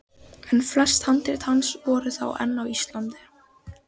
En flest handrit hans voru þá enn á Íslandi.